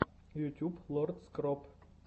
ютьюб лорд скроп